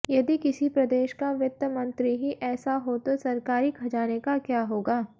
यदि किसी प्रदेश का वित्तमंत्री ही ऐसा हो तो सरकारी खजाने का क्या होगा